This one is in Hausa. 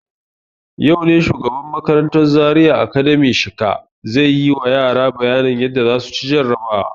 Yau ne shugaban makarantan Zaria Academy Shika zai yi ma yara bayanin yadda za su ci jarabawa.